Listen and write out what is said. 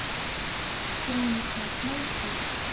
хроника найти